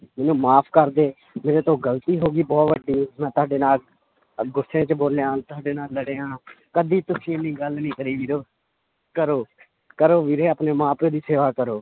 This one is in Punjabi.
ਮੈਨੂੰ ਮਾਫ਼ ਕਰ ਦੇ ਮੇਰੇ ਤੋਂ ਗ਼ਲਤੀ ਹੋ ਗਈ ਬਹੁਤ ਵੱਡੀ ਮੈਂ ਤੁਹਾਡੇ ਨਾਲ ਅਹ ਗੁੱਸੇ 'ਚ ਬੋਲਿਆ ਤੁਹਾਡੇ ਨਾਲ ਲੜਿਆ ਕਦੇ ਤੁਸੀਂ ਇੰਨੀ ਗੱਲ ਨੀ ਕਰੀ ਵੀਰੋ ਕਰੋ ਕਰੋ ਵੀਰੇ ਆਪਣੇ ਮਾਂ ਪਿਓ ਦੀ ਸੇਵਾ ਕਰੋ।